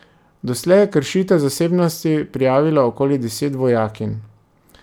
Doslej je kršitev zasebnosti prijavilo okoli deset vojakinj.